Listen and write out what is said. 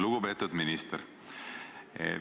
Lugupeetud minister!